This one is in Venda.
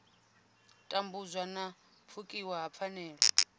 tambudzwa na pfukiwa ha pfanelo